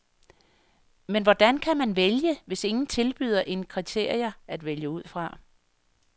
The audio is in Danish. Men hvordan kan man vælge, hvis ingen tilbyder en kriterier at vælge ud fra?